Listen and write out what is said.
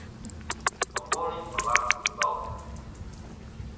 пополнить баланс бухгалтера